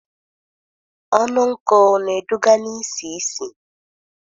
Ọnụ nkụ na-eduga na isi ísì